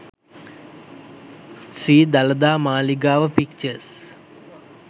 sri dalada maligawa pictures